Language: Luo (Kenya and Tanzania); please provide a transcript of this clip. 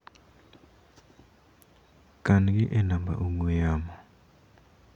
Kan gi e namba ong'ue yamo.